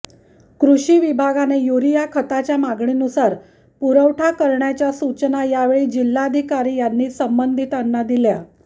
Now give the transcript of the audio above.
कृषी विभागाने युरिया खताच्या मागणीनूसार पुरवठा करण्याच्या सूचना यावेळी जिल्हाधिकारी यांनी संबंधिताना दिल्या